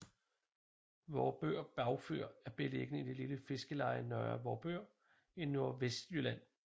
Vorupør Bagfyr er beliggende i det lille fiskeleje Nørre Vorupør i Nordvestlylland